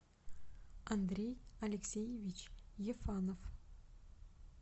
андрей алексеевич ефанов